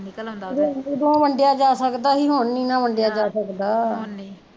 ਉਦੋਂ ਵੰਡਿਆ ਜਾਂ ਸਕਦਾ ਸੀ ਹੁਣ ਨੀ ਨਾ ਵੰਡਿਆ ਜਾਂ ਸਕਦਾ